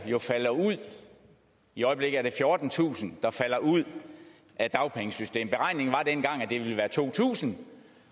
falder ud i øjeblikket er det fjortentusind der falder ud af dagpengesystemet at det ville være to tusind